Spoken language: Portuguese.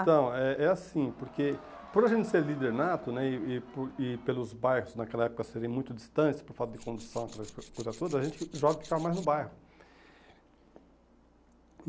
Ah, Então, é é assim, porque por a gente ser líder nato né e e por e pelos bairros naquela época serem muito distantes por falta de condução, aquela coisa toda, a gente jovem ficava mais no bairro.